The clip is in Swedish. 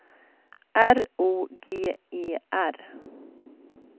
R O G E R